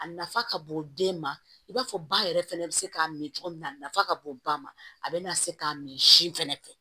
A nafa ka bon den ma i b'a fɔ ba yɛrɛ fana bɛ se k'a min cogo min na a nafa ka bon ba ma a bɛna se k'a min sin fɛnɛ fɛ